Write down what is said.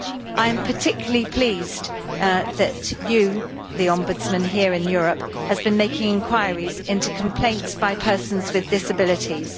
I am particularly pleased that you, the Ombudsman here in Europe, have been making inquiries into complaints by persons with disabilities.